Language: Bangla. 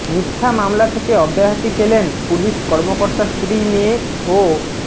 মিথ্যা মামলা থেকে অব্যাহতি পেলেন পুলিশ কর্মকর্তার স্ত্রী মেয়ে ও